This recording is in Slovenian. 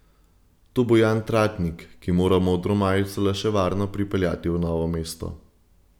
To bo Jan Tratnik, ki mora modro majico le še varno pripeljati v Novo mesto.